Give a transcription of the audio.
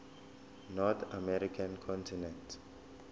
north american continent